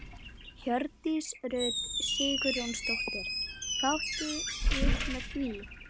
Hjördís Rut Sigurjónsdóttir: Hvað áttu við með því?